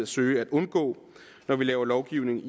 søge at undgå når vi laver lovgivning